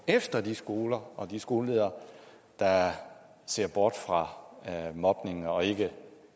efter de skoler og de skoleledere der ser bort fra mobning og ikke